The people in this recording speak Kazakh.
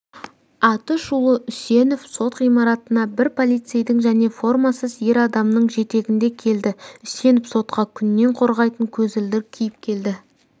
атышулы үсенов сот ғимаратына бір полицейдің және формасыз ер адамның жетегінде келді үсенов сотқа күннен қорғайтын көзілдірік киіп келді